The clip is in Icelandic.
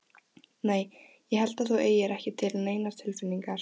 Nei. ég held að þú eigir ekki til neinar tilfinningar.